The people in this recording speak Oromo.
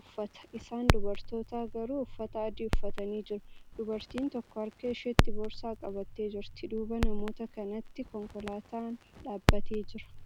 uffata. isaan dubartootaa garuu uffata adii uffatanii jiru. dubartiin tokko harka isheetti boorsaa qabattee jirti. duuba namoota kanaatti konkolaataan dhaabatee Jira.